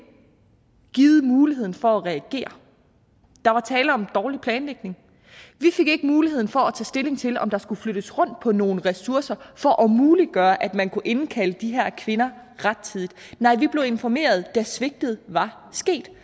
givet mulighed for at reagere der var tale om dårlig planlægning vi fik ikke mulighed for at tage stilling til om der skulle flyttes rundt på nogle ressourcer for at muliggøre at man kunne indkalde de her kvinder rettidigt nej vi blev informeret da svigtet var sket